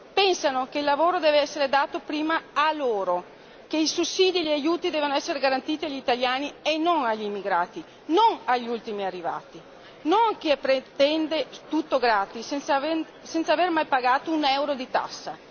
Pensano che il lavoro deve essere dato prima a loro, che i sussidi e gli aiuti devono essere garantiti agli italiani e non agli immigrati, non agli ultimi arrivati, non a chi pretende tutto gratis senza aver mai pagato un euro di tassa.